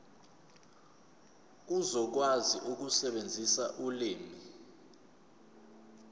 uzokwazi ukusebenzisa ulimi